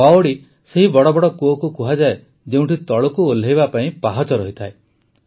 ବାୱଡି ସେହି ବଡ଼ବଡ଼ କୂଅକୁ କୁହାଯାଏ ଯେଉଁଠି ତଳକୁ ଓହ୍ଲାଇବା ପାଇଁ ପାହାଚ ରହିଥାଏ